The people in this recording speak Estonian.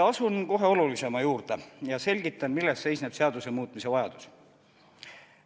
Asun kohe olulisema juurde ja selgitan, milles seisneb seaduse muutmise vajadus.